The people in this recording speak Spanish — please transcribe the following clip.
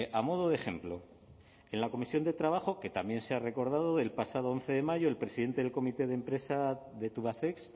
a modo de ejemplo en la comisión de trabajo que también se ha recordado del pasado once de mayo el presidente del comité de empresa de tubacex